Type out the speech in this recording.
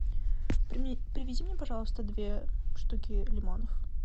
привези мне пожалуйста две штуки лимонов